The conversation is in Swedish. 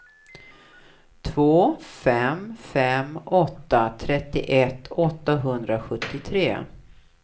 två fem fem åtta trettioett åttahundrasjuttiotre